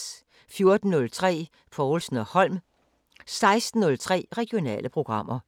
14:03: Povlsen & Holm 16:03: Regionale programmer